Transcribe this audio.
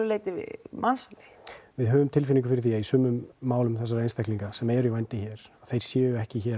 leyti mansali við höfum tilfinningu fyrir því að í sumum málum þessara einstaklinga sem eru í vændi hér þeir séu ekki hér